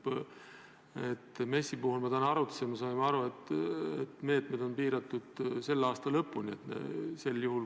MES-i puhul me täna arutasime ja saime aru, et meetmed on piiratud selle aasta lõpuga.